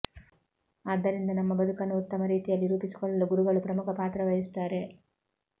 ಆದ್ದರಿಂದ ನಮ್ಮ ಬದುಕನ್ನು ಉತ್ತಮ ರೀತಿಯಲ್ಲಿ ರೂಪಿಸಿಕೊಳ್ಳಲು ಗುರುಗಳು ಪ್ರಮುಖ ಪಾತ್ರವಹಿಸುತ್ತಾರೆ